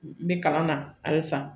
N bɛ kalan na halisa